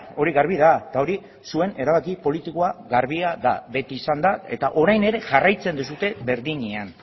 hori garbi da eta hori zuen erabaki politikoa garbia da beti izan da eta orain ere jarraitzen duzue berdinean